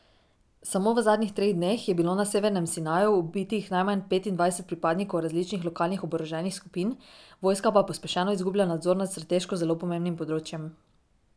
Samo v zadnjih treh dneh je bilo na severnem Sinaju ubitih najmanj petindvajset pripadnikov različnih lokalnih oboroženih skupin, vojska pa pospešeno izgublja nadzor nad strateško zelo pomembnim področjem.